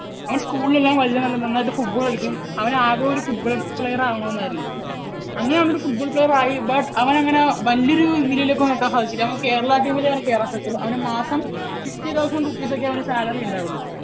അവൻ school ൽ എല്ലാം വലിയ നന്നായിട്ട് football കളിക്കും. അവന് ആഗ്രഹം ഒരു football player ആകണമെന്നായിരുന്നു. അങ്ങനെ അവൻ ഒരു football player, player ആയി. but അവനെ അങ്ങനെ വലിയ ഒരു നിലയിലേക്ക് ഒന്നും എത്താൻ സാധിച്ചില്ല. അവന് കേരള team ലെ അവന് കേറാൻ സാധിച്ചുള്ളൂ. അവന് മാസം fifty thousand rupeess ഒക്കെയേ അവന് salary ഉണ്ടാവുകയുള്ളൂ.